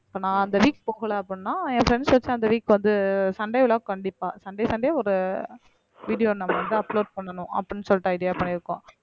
இப்ப நான் அந்த week போகல அப்படின்னா என் friends வச்ச அந்த week வந்து சண்டே vlog கண்டிப்பா சண்டே சண்டே ஒரு video நான் வந்து upload அப்படின்னு சொல்லிட்டு idea பண்ணியிருக்கோம்